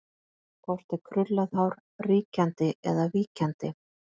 Hvort er krullað hár ríkjandi eða víkjandi?